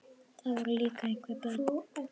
Það voru líka einhver börn.